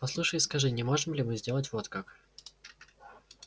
послушай и скажи не можем ли мы сделать вот как